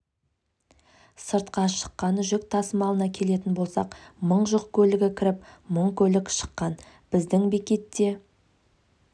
сыртқа шыққан жүк тасымалына келетін болсақ мың жүк көлігі кіріп мың көлік шыққан біздің бекетте